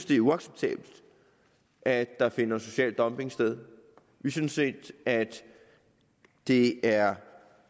det er uacceptabelt at der finder social dumping sted vi synes ikke at det er